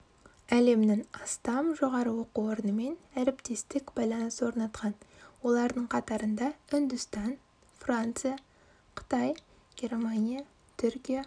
әлемнің астам жоғары оқу орнымен әріптестік байланыс орнатқан олардың қатарында үндістан франция қытай германия түркия